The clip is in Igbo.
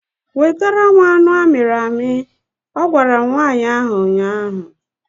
Wetara m anụ amịrị amị! Ọ gwara nwaanyị ahụ ụnyaahụ